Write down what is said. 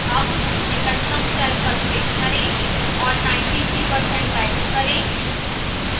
अब निकटतम cell पर click करें और 93 % type करें